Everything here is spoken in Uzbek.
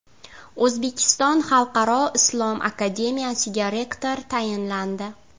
O‘zbekiston xalqaro islom akademiyasiga rektor tayinlandi.